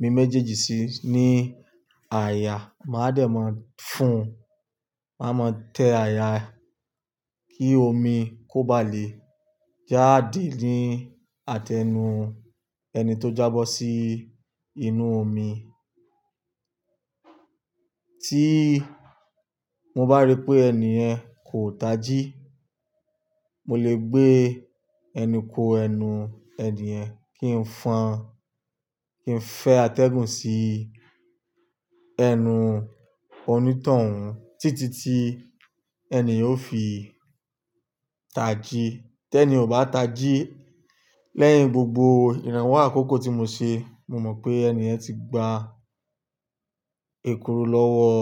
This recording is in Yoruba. mi méjèèjì sí ní àyà, màá dẹ̀ máa fún, màá mọ tẹ àyà kí omi kó bá lè jáde ní àtẹnu ẹni tó jábọ́ sí inú omi. Tí mo bá rí pé ẹni ẹ̀ kò taji, mo lè gbé ẹnu ko ẹnu ẹniyen kí n fan, kí n fẹ́ atẹ́gùn sí ẹnu onítàn wọn títí tí ẹniyen yóò fi taji. Tẹ ni ò bá taji lẹ́yìn gbogbo ìrànwọ́ àkókò tí mo ṣe, mo mọ pé ẹni ẹ̀ ti gba èkuru lọ́wọ́,